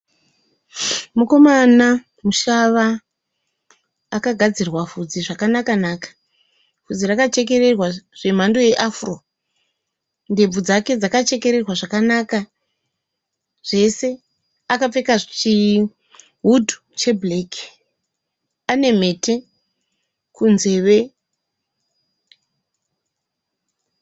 Mukomana mushava akagadzirwa bvudzi zvakanaka- naka. Bvudzi rakachekererwa zvemhando yeAfro. Ndebvu dzake dzakachekererwa zvakanaka. Zvese. Akapfeka chihudhu chebhureki. Ane mhete kunzeve.